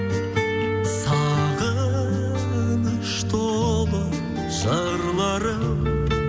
сағыныш толы жырларым